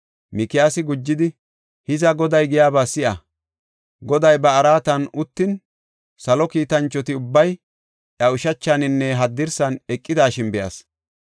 Mikiyaasi gujidi, “Hiza Goday giyaba si7a! Goday ba araatan uttin, salo kiitanchoti ubbay iya ushachaninne haddirsan eqidashin be7as.